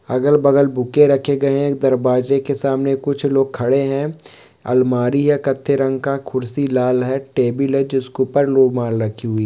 अगल-बगल बूके रहे गए है एक दरवाजे के सामने कुछ लोग खड़े है अलमारी है कथे रंग का कुर्सी लाल है टेबल है जिसके ऊपर रुमाल रखी हुई --